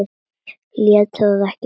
Lét það ekki eftir sér.